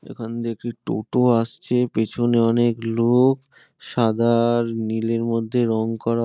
এখন দেখি টোটো আসছে। পেছনে অনেক লোক। সাদার নীলের মধ্যে রং করা--